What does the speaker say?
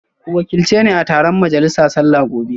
Ku wakilci ni a taron majalisa sallah gobe